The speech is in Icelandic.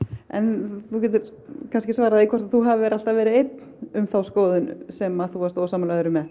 en þú getur kannski svarað því hvort þú hafir alltaf verið einn um þá skoðun sem þú varst ósammála öðrum með